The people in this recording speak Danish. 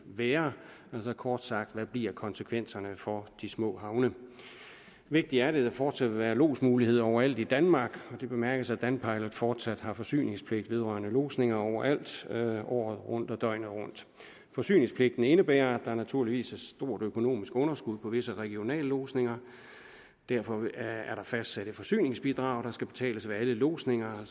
være altså kort sagt hvad bliver konsekvenserne for de små havne vigtigt er det at der fortsat vil være lodsmulighed overalt i danmark og det bemærkes at danpilot fortsat har forsyningspligt vedrørende lodsning overalt året rundt og døgnet rundt forsyningspligten indebærer at der naturligvis er et stort økonomisk underskud på visse regionallodsninger derfor er der fastsat et forsyningsbidrag der skal betales ved alle lodsninger og